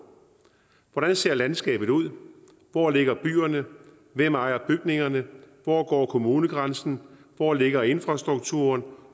hvordan ser landskabet ud hvor ligger byerne hvem ejer bygningerne hvor går kommunegrænsen hvor ligger infrastrukturen